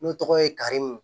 N'o tɔgɔ ye karimu